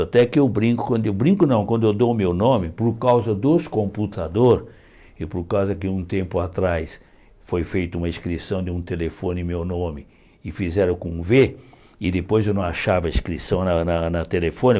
Tanto é que eu brinco eu brinco não quando eu dou o meu nome por causa dos computadores e por causa que um tempo atrás foi feita uma inscrição de um telefone em meu nome e fizeram com um vê e depois eu não achava a inscrição na na telefone.